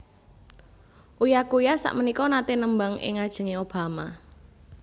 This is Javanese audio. Uya Kuya sakmenika nate nembang ing ngajenge Obama